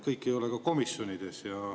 Kõik ei ole ka komisjonides.